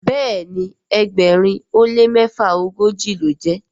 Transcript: Béèni ẹgbẹrin o le mefaogoji lọ jé.